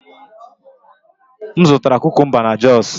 M zụtara kukumba na jos